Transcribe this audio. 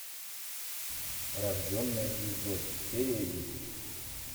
рожденная звездой серия десять